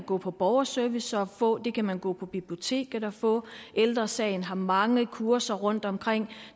gå på borgerservice og få det kan man gå på biblioteket og få og ældre sagen har mange kurser rundtomkring